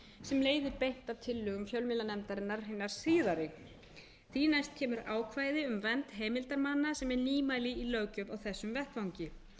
sem leiðir beint af tillögum fjölmiðlanefndarinnar hinnar síðari síðan kemur ákvæði um vernd heimildarmanna sem er nýmæli í löggjöf á þessum vettvangi